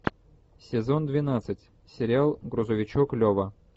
сезон двенадцать сериал грузовичок лева